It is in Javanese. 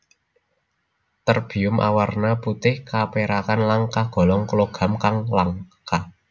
Terbium awarna putih kapérakan lan kagolong logam kang langka